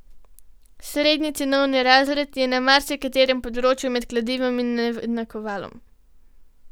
Srednji cenovni razred je na marsikaterem področju med kladivom in nakovalom.